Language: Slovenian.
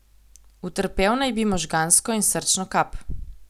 Utrpel na bi možgansko in srčno kap.